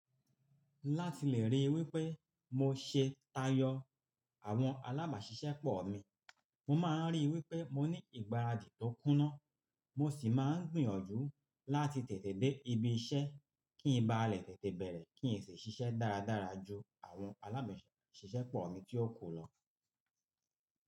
Láti lè ríi wípé mo ṣe tayọ àwọn alábàáṣiṣẹ́pọ̀ mi, mo máa ń ríi wípé mo ní ìgbáradì tó kúnná, mo sì máa ń gbìyànjú láti tètè dé ibi iṣẹ́ kí ń ba lè tètè bẹ̀rẹ̀ kí n sì ṣiṣẹ́ dáradára ju àwọn alábàáṣiṣẹ́pọ̀ mi tí ó kù lọ.